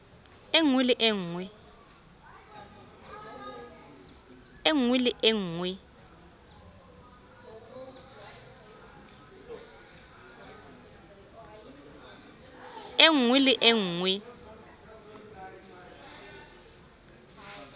e nngwe le e nngwe